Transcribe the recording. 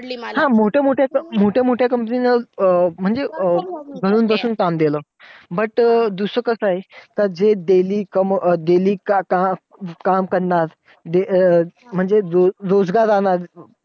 हा! मोठ्या मोठ्या company मोठ्या मोठ्या company वर म्हणजे अं घरून बसून काम केलं. But दुसरं कसं आहे. daily काय काही काम करणार म्हणजे रोजगार राहणार.